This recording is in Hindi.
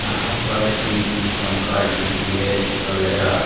यहाँ पर टी.वी. पंखा डी.टी.एच. वैगरा --